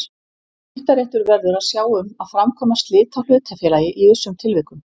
Skiptaréttur verður að sjá um að framkvæma slit á hlutafélagi í vissum tilvikum.